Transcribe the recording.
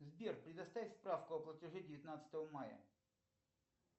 сбер предоставь справку о платеже девятнадцатого мая